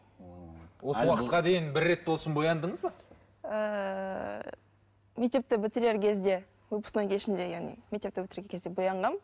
ммм осы уақытқа дейін бір рет болсын бояндыңыз ба ыыы мектепті бітірер кезде выпускной кешінде яғни мектепті бітірер кезде боянғанмын